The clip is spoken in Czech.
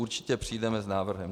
Určitě přijdeme s návrhem.